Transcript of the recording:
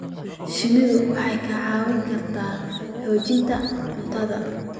Shinnidu waxay kaa caawin kartaa xoojinta cuntada.